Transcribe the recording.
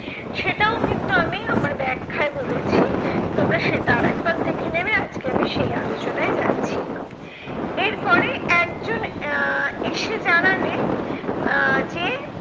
সেটাও কিন্তু আমি আমার ব্যাখ্যায় বলেছি, তোমরা সেটা আর একবার দেখে নেবে আজকে আমি সেই আলোচনায় যাচ্ছি না। এরপরে একজন আহ এসে জানালে আহ যে